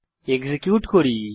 execute করি